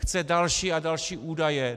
Chce další a další údaje.